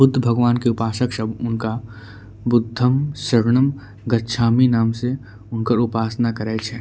बुद्ध भगवान के उपासक सब उनका बुद्धम सरणम गच्छामि नाम से उनकर उपासना करे छै।